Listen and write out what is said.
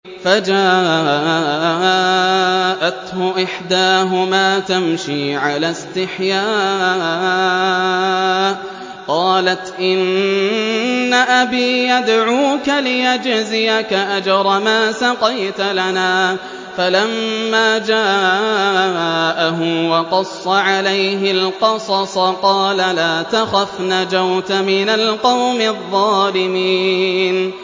فَجَاءَتْهُ إِحْدَاهُمَا تَمْشِي عَلَى اسْتِحْيَاءٍ قَالَتْ إِنَّ أَبِي يَدْعُوكَ لِيَجْزِيَكَ أَجْرَ مَا سَقَيْتَ لَنَا ۚ فَلَمَّا جَاءَهُ وَقَصَّ عَلَيْهِ الْقَصَصَ قَالَ لَا تَخَفْ ۖ نَجَوْتَ مِنَ الْقَوْمِ الظَّالِمِينَ